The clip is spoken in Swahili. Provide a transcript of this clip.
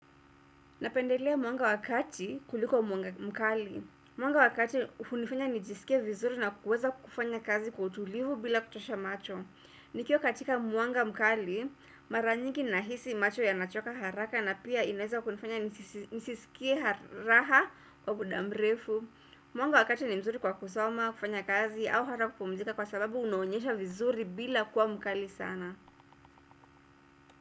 Napendelea mwanga wa kati kuliko mwanga mkali. Mwanga wa kati hunifanya nijisikie vizuri na kuweza kufanya kazi kwa utulivu bila kuchosha macho. Nikiwa katika mwanga mkali, mara nyingi nahisi macho yanachoka haraka na pia inaeza kunifanya nisisikie raha kwa muda mrefu. Mwanga wa kati ni mzuri kwa kusoma, kufanya kazi au hata kupumzika kwa sababu unaonyesha vizuri bila kuwa mkali sana.